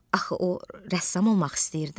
Axı o rəssam olmaq istəyirdi.